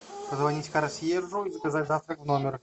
позвонить консьержу и заказать завтрак в номер